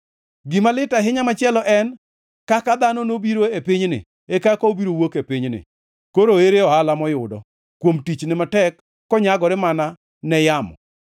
Gima lit ahinya machielo en: Kaka dhano nobiro e pinyni, e kaka obiro wuok e pinyni, koro ere ohala moyudo, kuom tichne matek konyagore mana ne yamo?